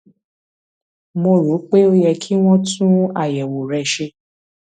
mo rò pé ó yẹ kí wọn tún àyẹwò rẹ ṣe